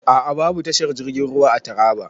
A a.babu tashar jirgin ruwa a Taraba.